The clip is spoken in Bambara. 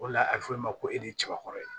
O de la a bɛ fɔ o ma ko e de kaba kɔrɔ ye